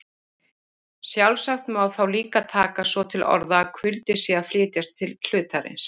Sjálfsagt má þá líka taka svo til orða að kuldi sé að flytjast til hlutarins.